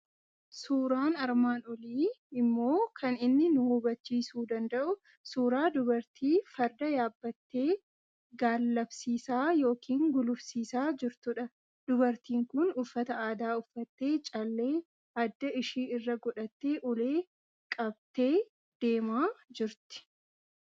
Suuraan armaan olii immoo kan inni nu habachiisuu danda'u suuraa dubartii farda yaabbattee gaallabsiisaa yookiin gulufsiisaa jirtudha. Dubartiin kun uffata aadaa uffattee, callee adda ishii irra godhattee, ulee qabttee deemaa jirti.